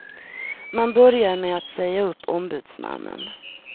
Man började med att säga upp ombudsmannen.